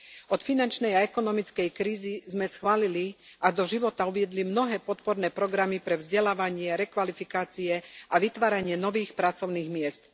Od finančnej a ekonomickej krízy sme schválili a do života uviedli mnohé podporné programy pre vzdelávanie, rekvalifikácie a vytváranie nových pracovných miest.